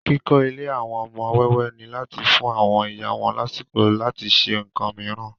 Kókó Ilé àwọn ọmọ wẹ́wẹ́ ni láti fùn àwọn iyá wọn lásìkò láti se ǹkan mìíràn